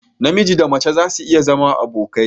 Namiji Da mace zasu iya zama abokai.